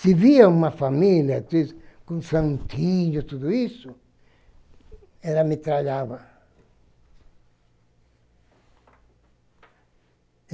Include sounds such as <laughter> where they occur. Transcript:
Se via uma família <unintelligible> com santinho e tudo isso, ela metralhava.